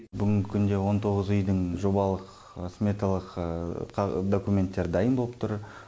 бүгінгі күнде он тоғыз үйдің жобалық сметалық документтері дайын боп тұр